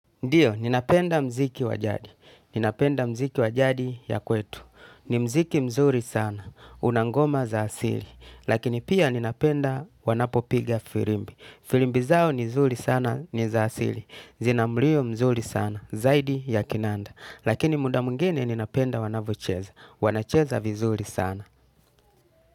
Ndiyo, ninapenda muziki wa jadi. Ninapenda mziki wajadi ya kwetu. Ni muziki mzuri sana. Una ngoma za asili. Lakini pia ninapenda wanapopiga firimbi. Firimbi zao ni nzuri sana ni za asili. Zina mlio mzuri sana. Zaidi ya kinanda. Lakini muda mwingine ninapenda wanavyocheza. Wanacheza vizuri sana.